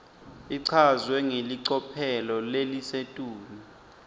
ichazwe ngelicophelo lelisetulu